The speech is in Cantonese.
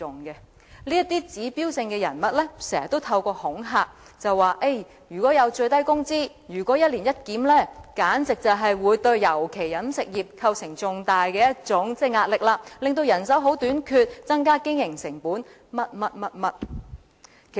這些指標性人物常常發出恐嚇的言論，指出如果最低工資推行一年一檢，便會對各行業構成重大壓力，尤其是飲食業，出現人手短缺，增加經營成本等各種問題。